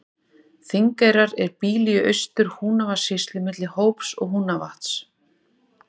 Þingeyrar er býli í Austur-Húnavatnssýslu milli Hóps og Húnavatns.